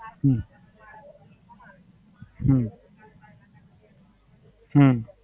હમ હમ હમ